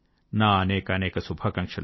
నా అనేకానేక శుభాకాంక్షలు